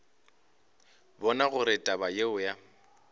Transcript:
bona gore taba yeo ya